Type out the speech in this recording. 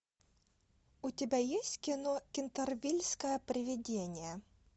у тебя есть кино кентервильское привидение